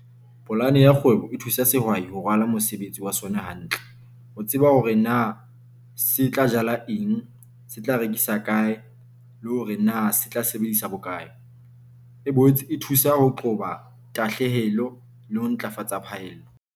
Polane ya kgwebo e thusa sehwai ho rwala mosebetsi wa sona hantle. Ho tseba hore na se tla jala eng, se tla rekisa kae le hore na se tla sebedisa bokae. E boetse e thusa ho qoba tahlehelo le ho ntlafatsa phaello.